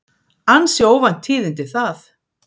Ansi óvænt tíðindi það.